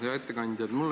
Hea ettekandja!